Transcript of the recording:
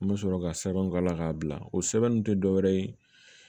N bɛ sɔrɔ ka sɛbɛnw k'a la k'a bila o sɛbɛn ninnu tɛ dɔ wɛrɛ ye